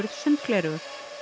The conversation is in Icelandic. sundgleraugu